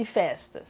E festas?